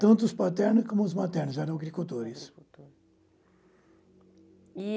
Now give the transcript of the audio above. Tanto os paternos como os maternos, eram agricultores. Agricultor. E